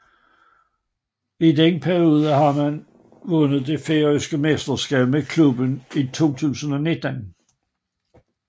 I denne periode har han vundet det færøske mesterskab med klubben i 2019